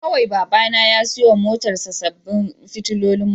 Kawai Babana ya siyo wa motarsa ​​sabbin fitilolin mota